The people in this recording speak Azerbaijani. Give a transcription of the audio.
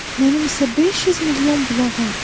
Mənim isə 500 milyon bulağım.